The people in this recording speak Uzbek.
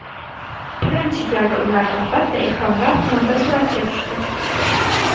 Birinchi galda ular, albatta, ehromlar fonida suratga tushdi.